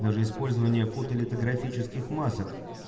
даже использование фотолитографических масок